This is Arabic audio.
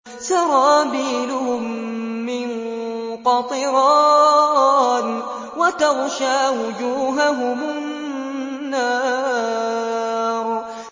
سَرَابِيلُهُم مِّن قَطِرَانٍ وَتَغْشَىٰ وُجُوهَهُمُ النَّارُ